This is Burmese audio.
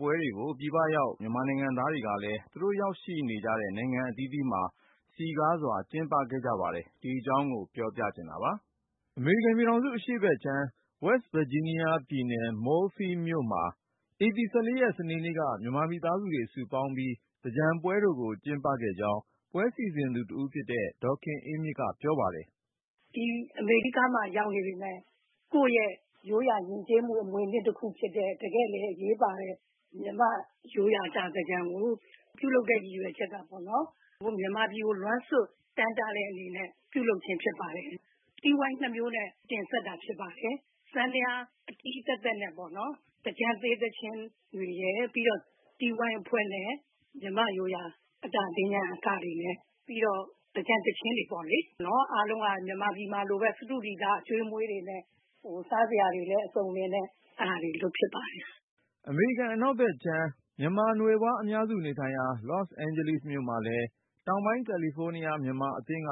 ပွဲတွေကို ပြည်ပရောက် မြန်မာနိုင်ငံသားတွေကလည်း သူတို့ရောက်ရှိနေတဲ့ နိုင်ငံအသီးသီးမှာ စည်ကားစွာ ကျင်းပခဲ့ကြ ပါတယ်။ ကိုဉာဏ်ဝင်းအောင်က စုစည်းတင်ပြ ထားတာပါ။ အမေရိကန်ပြည်ထောင်စု အရှေ့ဘက်ခြမ်း West Virginia ပြည်နယ် Moorefield မြို့မှာ ဧပြီ ၁၄ ရက် စနေနေ့က မြန်မာမိသားစုတွေ စုပေါင်းပြီး သင်္ကြန်ပွဲတော်ကို ကျင်းပခဲ့ကြောင်း ပွဲစီစဉ်သူတဦးဖြစ်တဲ့ ဒေါ်ခင်အေးမြင့်က ပြောပါတယ်။ “ ဒီအမေရိကမှာ ရောက်နေပေမယ့် ကိုယ့်ရဲ့ရိုးရာယဉ်ကျေးမှု အမွေအနှစ်တခုဖြစ်တဲ့ တကယ့်လည်းအရေးပါတဲ့ မြန်မာ့ရိုးရာ အတာသင်္ကြန်ကို ပြုလုပ်ရတဲ့ ရည်ရွယ်ချက်က မြန်မာပြည်ကို လွမ်းဆွတ် တမ်းတတဲ့အနေနဲ့ ပြုလုပ်ခြင်း ဖြစ်ပါတယ်။ တီးဝိုင်း ၂မျိုးနဲ့ တင်ဆက်တာဖြစ်ပါတယ်။ အမေရိကန် စန္ဒယားဆရာမ ကစ်ဒ်ယန်းရဲ့ စန္ဒယားအတီးတွေရယ်၊ ပြီးတော့ အခြား မြန်မာလူငယ် တီးဝိုင်းအဖွဲ့နဲ့ မြန်မာ့ရိုးရာ အတာသင်္ကြန် အကတွေနဲ့ပေါ့၊ ပြီးတော့ သင်္ကြန်သီချင်းတွေပေါ့လေ။ အားလုံးက မြန်မာပြည်မှာလိုပဲ စတုဒီသာအကျွေးအမွေး တွေနဲ့ စားစရာတွေလည်း အစုံအလင်နဲ့ အဲဒါတွေ လုပ်ဖြစ်ပါတယ်။ ” အမေရိကန် အနောက်ဘက်ခြမ်း မြန်မာနွယ်ဖွား အများစုနေထိုင်ရာ Los Angeles မြို့မှာလည်း တောင်ပိုင်းကယ်လီဖိုးနီးယား မြန်မာအသင်း က